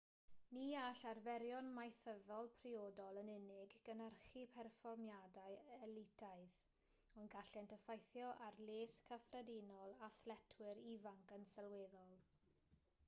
ni all arferion maethyddol priodol yn unig gynhyrchu perfformiadau elitaidd ond gallent effeithio ar les cyffredinol athletwyr ifanc yn sylweddol